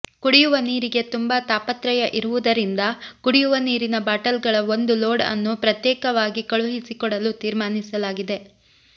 ಕುಡಿಯುವ ನೀರಿಗೆ ತುಂಬಾ ತಾಪತ್ರಯ ಇರುವುದರಿಂದ ಕುಡಿಯುವ ನೀರಿನ ಬಾಟಲ್ಗಳ ಒಂದು ಲೋಡ್ ಅನ್ನು ಪ್ರತ್ಯೇಕವಾಗಿ ಕಳುಹಿಸಿ ಕೊಡಲು ತೀರ್ಮಾನಿಸಲಾಗಿದೆ